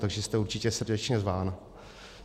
Takže jste určitě srdečně zván.